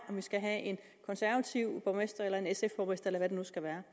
man skal have en konservativ borgmester eller en sf borgmester eller hvad det nu skal være